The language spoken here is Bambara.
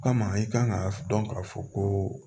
O kama i kan ka dɔn k'a fɔ ko